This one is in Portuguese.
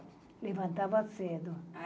Levantava cedo.